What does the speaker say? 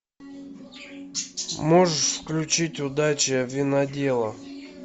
можешь включить удача винодела